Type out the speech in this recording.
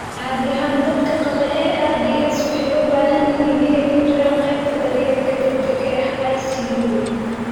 Caadi ahaan dadka qaba ARDS waxay u baahan yihiin inay ku jiraan qaybta daryeelka degdega ah (ICU).